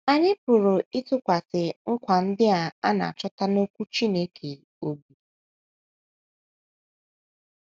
Anyị pụrụ ịtụkwasị nkwa ndị a na - achọta n’Okwu Chineke, bụ́ the text, obi.